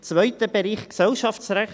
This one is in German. Zweiter Bereich: Gesellschaftsrecht.